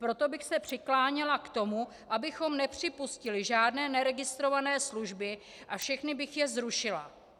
Proto bych se přikláněla k tomu, abychom nepřipustili žádné neregistrované služby, a všechny bych je zrušila.